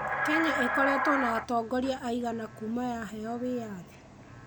Kenya ĩkoretwo na atongoria aigana kuuma yaheo wĩyathi?